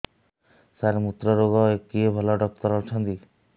ସାର ମୁତ୍ରରୋଗ ପାଇଁ କିଏ ଭଲ ଡକ୍ଟର ଅଛନ୍ତି